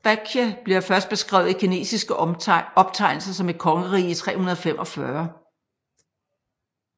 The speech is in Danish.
Baekje bliver først beskrevet i kinesiske optegnelser som et kongerige i 345